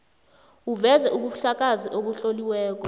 uveze ubufakazi obutloliweko